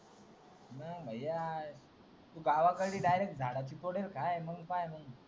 मंग तू गावाकडी डायरेक्ट झाडाची फळेखा